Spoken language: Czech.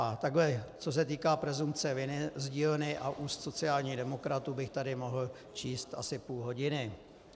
A takhle, co se týká presumpce viny z dílny a úst sociálních demokratů, bych tady mohl číst asi půl hodiny.